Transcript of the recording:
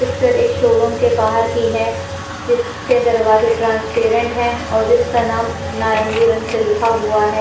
Picture एक showroom के बाहर की है जिसके दरवाजे ट्रांसपेरेंट है और जिसका नाम नारंगी रंग से लिखा हुआ है।